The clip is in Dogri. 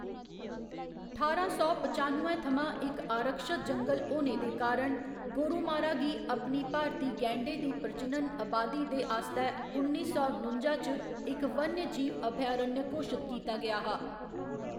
ठारां सौ पचानुए थमां इक आरक्षत जंगल होने दे कारण, गोरुमारा गी अपनी भारती गैंडें दी प्रजनन अबादी दे आस्तै उन्नी सौ नुंजा च इक वन्यजीव अभयारण्य घोशत कीता गेआ हा।